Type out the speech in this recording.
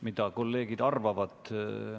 Mida kolleegid arvavad?